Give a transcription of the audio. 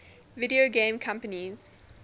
video game companies